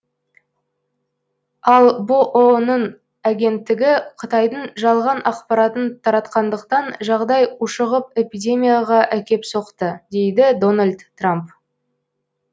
ал бұұ ның агенттігі қытайдың жалған ақпаратын таратқандықтан жағдай ушығып эпидемияға әкеп соқты дейді дональд трамп